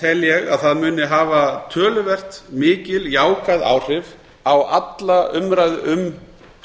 tel ég að það muni hafa töluvert mikil jákvæð áhrif á alla umræðu um